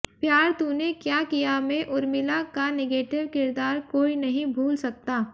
प्यार तूने क्या किया में उर्मिला का निगेटिव किरदार कोई नहीं भूल सकता